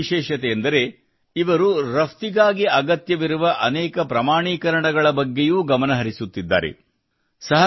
ಎರಡನೇ ವಿಶೇಷತೆಯೆಂದರೆ ಇವರು ರಫ್ತಿಗಾಗಿ ಅಗತ್ಯವಿರುವ ಅನೇಕ ಪ್ರಮಾಣೀಕರಣಗಳ ಬಗ್ಗೆಯೂ ಗಮನ ಹರಿಸುತ್ತಿದ್ದಾರೆ